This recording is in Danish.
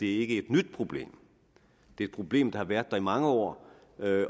er et nyt problem det er et problem der har været der i mange år